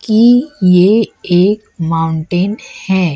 कि ये एक माउंटेन है।